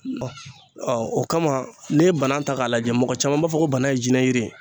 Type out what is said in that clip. o kama ne ye banan ta k'a lajɛ mɔgɔ caman b'a fɔ ko banan ye jinɛ yiri ye